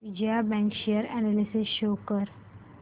Vijaya bank share analysis show कर